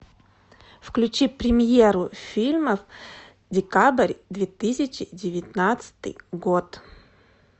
включи премьеру фильмов декабрь две тысячи девятнадцатый год